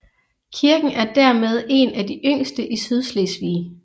Kirken er dermed en af de yngste i Sydslesvig